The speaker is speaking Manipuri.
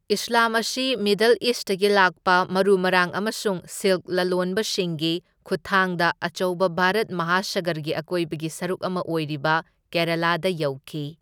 ꯏꯁ꯭ꯂꯥꯝ ꯑꯁꯤ ꯃꯤꯗꯜ ꯏꯁꯇꯒꯤ ꯂꯥꯛꯄ ꯃꯔꯨ ꯃꯔꯥꯡ ꯑꯃꯁꯨꯡ ꯁꯤꯜꯛ ꯂꯂꯣꯟꯕꯁꯤꯡꯒꯤ ꯈꯨꯠꯊꯥꯡꯗ ꯑꯆꯧꯕ ꯚꯥꯔꯠ ꯃꯍꯥꯁꯥꯒꯔꯒꯤ ꯑꯀꯣꯏꯕꯒꯤ ꯁꯔꯨꯛ ꯑꯃ ꯑꯣꯏꯔꯤꯕ ꯀꯦꯔꯥꯂꯥꯗ ꯌꯧꯈꯤ꯫